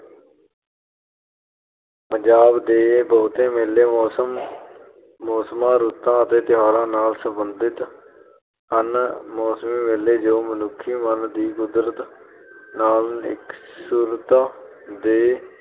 ਪੰਜਾਬ ਦੇ ਬਹੁਤ ਮੇਲੇ ਮੌਸਮ ਅਹ ਮੌਸਮਾਂ, ਰੁੱਤਾਂ ਅਤੇ ਤਿਉਹਾਰਾਂ ਨਾਲ ਸਬੰਧਿਤ ਹਨ । ਮੌਸਮੀ ਮੇਲੇ ਜੋ ਮਨੁੱਖੀ ਮਨ ਦੀ ਕੁਦਰਤ ਨਾਲ ਇਕਸੁਰਤਾ ਦੇ